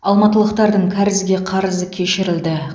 алматылықтардың кәрізге қарызы кешірілді